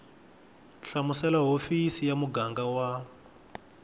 hlamusela hofisi ya muganga wa